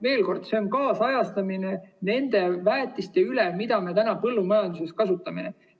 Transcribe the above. Veel kord: see on nende väetiste kaasajastamine, mida me põllumajanduses kasutame.